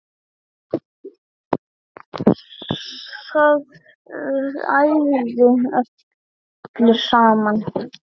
Það ægði öllu saman